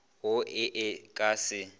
wo e e ka se